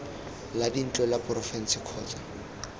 la dintlo la porofense kgotsa